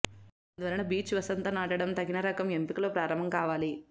అందువలన బిర్చ్ వసంత నాటడం తగిన రకం ఎంపికలో ప్రారంభం కావాలి